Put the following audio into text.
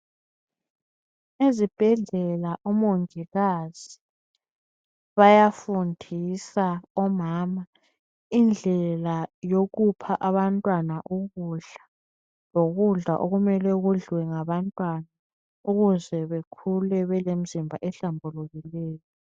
Ezibhedlela omongikazi bayafundisa omama indlela yokupha abantwana ukudla lokudla okumele kudliwe ngabantwana ukuze bekhule belemizimba ehlambulukileyo.